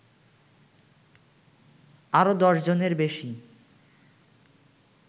আরো দশজনের বেশী